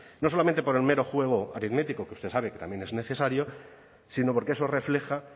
no solamente por el mero fuego aritmético que usted sabe que también es necesario sino porque eso refleja